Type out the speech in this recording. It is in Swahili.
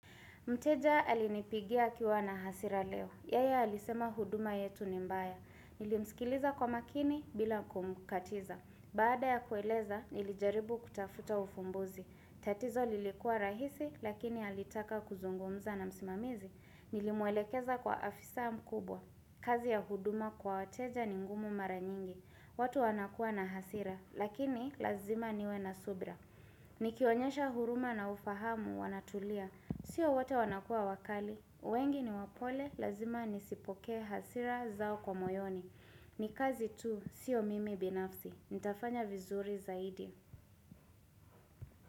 Mteja alinipigia akiwa na hasira leo. Yeye alisema huduma yetu ni mbaya. Nilimsikiliza kwa makini bila kumkatiza. Baada ya kueleza, nilijaribu kutafuta ufumbuzi. Tatizo lilikuwa rahisi, lakini alitaka kuzungumza na msimamizi. Nilimwelekeza kwa afisa mkubwa. Kazi ya huduma kwa wateja ni ngumu mara nyingi. Watu wanakuwa na hasira, lakini lazima niwe na subra. Nikionyesha huruma na ufahamu wanatulia. Sio wote wanakuwa wakali, wengi ni wapole, lazima nisipokee hasira zao kwa moyoni Nikazi tu, sio mimi binafsi, nitafanya vizuri zaidi.